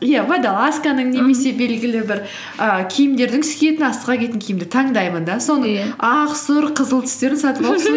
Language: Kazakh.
иә водолазканың немесе белгілі бір і киімдердің киімді таңдаймын да иә соны ақ сұр қызыл түстерін сатып алып